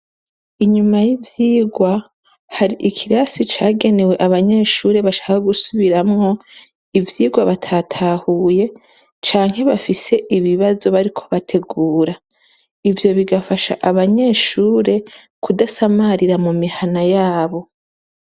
Inyuma y'ivyigwa hari ikirasi cagenewe abanyeshure bashaka gusubiramwo ivyirwa batatahuye canke bafise ibibazo bariko bategura ivyo bigafasha abanyeshure kudasamarira mu mihana yabo.